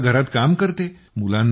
स्वयंपाक घरात काम करते